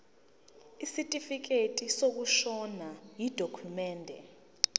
isitifikedi sokushona yidokhumende